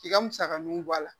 K'i ka musakaninw bɔ a la